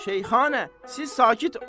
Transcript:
Şeyxanə, siz sakit olun.